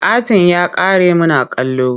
Katin ya ƙare muna kallo.